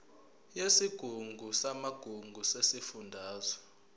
yesigungu samagugu sesifundazwe